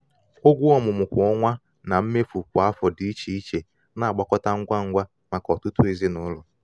ụgwọ ọmụmụ kwa ọnwa na mmefu kwa afọ dị iche iche na-agbakọta ngwa ngwa maka ọtụtụ ezinụlọ.